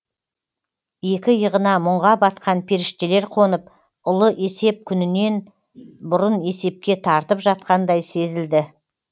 екі иығына мұңға батқан періштелер қонып ұлы есеп күнінен бұрын есепке тартып жатқандай сезілді